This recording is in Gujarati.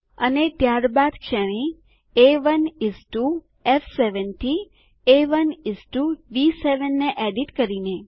અને ત્યારબાદ શ્રેણી A1 ઇસ ટીઓ F7 થી A1 ઇસ ટીઓ D7 ને એડીટ કરીને